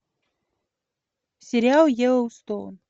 сериал йеллоустоун